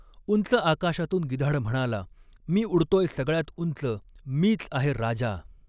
उंच आकाशातून गिधाड म्हणाला, मी उडतॊय सगळ्यात उंच, मीच आहे राजा!